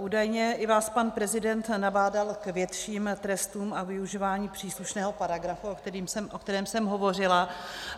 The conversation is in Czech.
Údajně i vás pan prezident nabádal k větším trestům a využívání příslušného paragrafu, o kterém jsem hovořila.